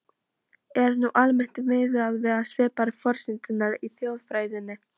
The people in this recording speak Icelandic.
Er nú almennt miðað við svipaðar forsendur í þjóðfræðinni.